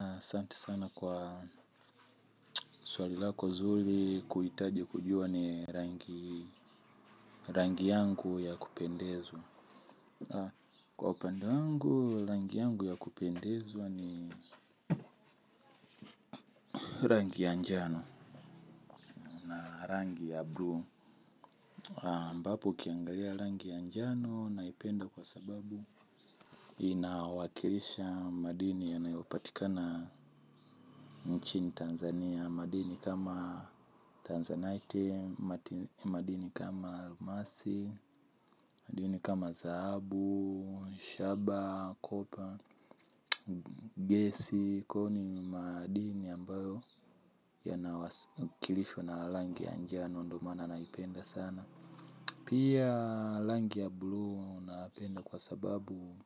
Asanti sana kwa swali lako zuri kuhitaji kujua ni rangi yangu ya kupendezwa. Kwa upande wangu, rangi yangu ya kupendezwa ni rangi ya njano, na rangi ya bluu. Ambapo ukiangalia rangi ya njano naipenda kwa sababu inawakilisha madini yanayopatikana nchini Tanzania. Ya madini kama tanzanite, madini kama almasi, madini kama zaabu, shaba, kopa, gesi, koni madini ambayo yana kilishwa na rangi ya njano ndo maana naipenda sana. Pia rangi ya bluu napenda kwa sababu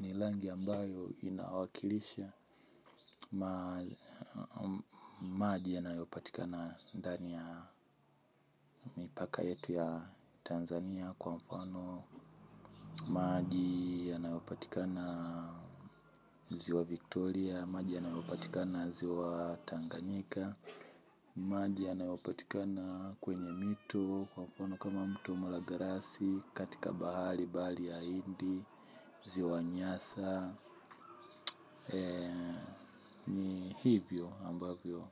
ni rangi ambayo inawakilisha maji yanayopatika ndani ya mipaka yetu ya Tanzania kwa mfano. Maji yanayopatikana ziwa Victoria, maji yanayopatika na ziwa Tanganyika. Maji yanayopatikana kwenye mito kwa mfano kama mto malagarasi katika bahari bali ya hindi ziwa nyasa hivyo ambavyo.